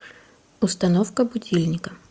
установка будильника